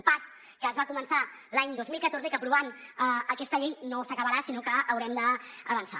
un pas que es va començar l’any dos mil catorze i que aprovant aquesta llei no s’acabarà sinó que haurem d’avançar